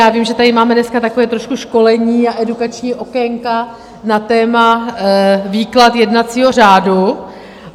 Já vím, že tady máme dneska takové trošku školení a edukační okénka na téma výklad jednacího řádu.